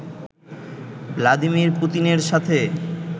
Vladimir পুতিনের সাথে